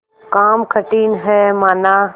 काम कठिन हैमाना